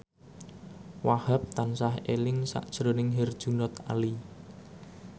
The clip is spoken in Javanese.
Wahhab tansah eling sakjroning Herjunot Ali